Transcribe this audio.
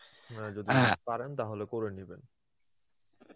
আপনার যদি পারেন তাহলে করে নিবেন.